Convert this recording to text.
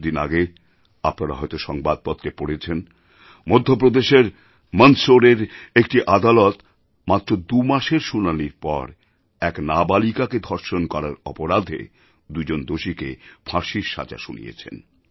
কিছু দিন আগে আপনারা হয়তো সংবাদপত্রে পড়েছেন মধ্যপ্রদেশের মন্দসোরের একটি আদালত মাত্র দু মাসের শুনানির পর এক নাবালিকাকে ধর্ষণ করার অপরাধে দুজন দোষীকে ফাঁসির সাজা শুনিয়েছেন